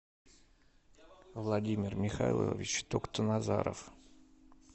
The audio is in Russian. владимир михайлович токтоназаров